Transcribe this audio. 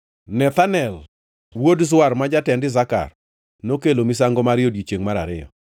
Nethanel wuod Zuar, ma jatend Isakar nokelo misango mare e odiechiengʼ mar ariyo.